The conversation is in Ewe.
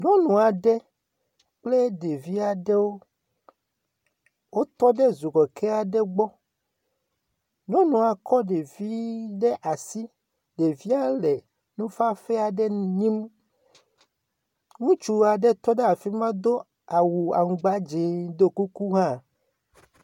Nyɔnu aɖe kple ɖevi aɖewo, wotɔ ɖe zokeke aɖe gbɔ. Nyɔnua kɔ ɖevi ɖe asi. Ɖevia le nufafɛ aɖe nyim. Ŋutsu aɖe tɔ ɖe afi ma do awu aŋugba dzẽ ɖiɔ kuku hã.